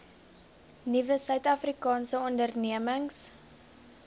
nuwe suidafrikaanse ondernemings